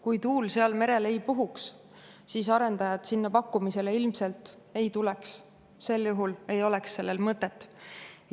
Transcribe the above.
Kui tuul seal merel ei puhuks, siis arendajad sinna pakkumisele ilmselt ei tuleks, sel juhul ei oleks sellel mõtet.